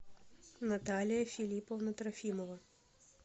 наталья филипповна трофимова